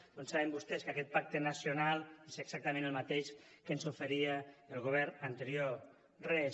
com saben vostès aquest pacte nacional és exactament el mateix que ens oferia el govern anterior res